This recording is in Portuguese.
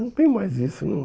Não tem mais isso hum.